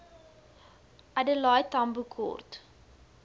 adelaide tambo kort